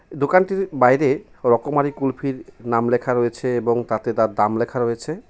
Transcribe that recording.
দোকানটির বাইরে রকমারি কুলফির নাম লেখা রয়েছে এবং তাতে তার দাম লেখা রয়েছে.